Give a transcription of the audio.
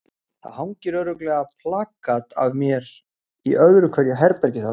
Það hangir örugglega plakat af mér í öðru hverju herbergi þarna.